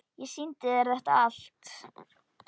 Ég sýndi þér þetta allt.